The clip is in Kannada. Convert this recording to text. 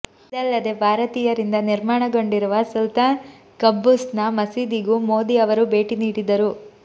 ಇದಲ್ಲದೆ ಭಾರತೀಯರಿಂದ ನಿರ್ಮಾಣಗೊಂಡಿರುವ ಸುಲ್ತಾನ್ ಖಬ್ಬೂಸ್ ನ ಮಸೀದಿಗೂ ಮೋದಿ ಅವರು ಭೇಟಿ ನೀಡಿದರು